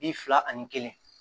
Bi fila ani kelen